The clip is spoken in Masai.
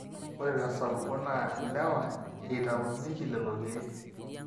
ore tesapuko naa ilewa eitaunyieki lelo keek